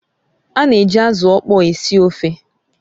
Ana eji azụ ọkpọr esi ofe